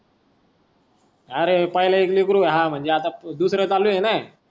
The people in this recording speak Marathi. अरे पहिले एक लेकरू व्हाव मगजे आता दुसर दुसर चालू आहे ना.